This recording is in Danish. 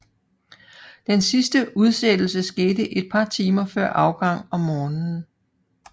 Den sidste udsættelse skete et par timer før afgang om morgenen